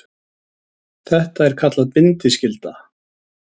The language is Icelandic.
Þetta er kallað bindiskylda.